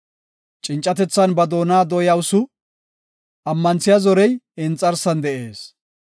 Cincatethan ba doona dooyawusu; ammanthiya zorey I inxarsan de7ees.